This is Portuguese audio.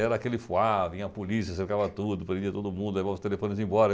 Era aquele fuá, vinha a polícia, cercava tudo, prendia todo mundo, levava os telefones embora.